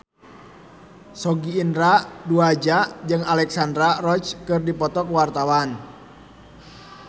Sogi Indra Duaja jeung Alexandra Roach keur dipoto ku wartawan